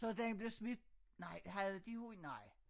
Så den blev smidt nej havde de hund nej